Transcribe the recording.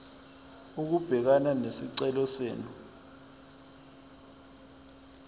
ukubhekana nesicelo senu